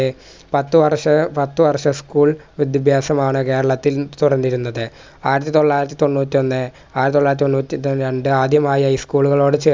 A പത്ത് വർഷ പത്ത് വർഷ school വിദ്യഭ്യാസമാണ് കേരളത്തിൽ തുടർന്നിരുന്നത് ആയിരത്തൊള്ളായിരത്തി തൊണ്ണൂറ്റൊന്ന് ആയിരത്തൊള്ളായിരത്തി തൊണ്ണൂറ്റി ര രണ്ട് ആദ്യമായി high school കളോട് ചെ